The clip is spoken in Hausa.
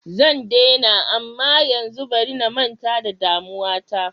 Zan daina amma yanzu bari na manta da damuwa ta.